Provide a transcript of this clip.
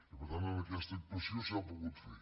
i per tant en aquesta actuació s’ha pogut fer